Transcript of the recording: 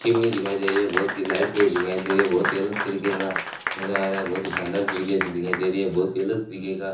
chimney दिखाई दे रही है बहुत की लाइटें दिखाई दे रही है बहोत ही अलग तरीके का मजा आ रहा है बहोत ही शानदार तरीके से दिखाई दे रही है बहोत ही अलग तरीके का --